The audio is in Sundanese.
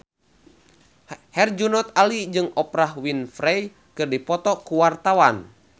Herjunot Ali jeung Oprah Winfrey keur dipoto ku wartawan